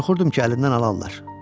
Qorxurdum ki, əlimdən alarlar.